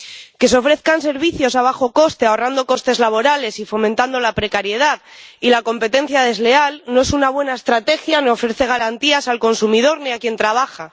Que se ofrezcan servicios a bajo coste, ahorrando costes laborales y fomentando la precariedad y la competencia desleal, no es una buena estrategia ni ofrece garantías al consumidor ni a quien trabaja.